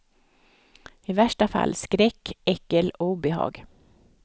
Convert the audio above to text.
I värsta fall skräck, äckel och obehag.